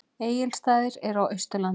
Egilsstaðir eru á Austurlandi.